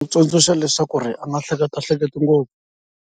Tsundzuxa leswaku ri a nga hleketahleketi ngopfu.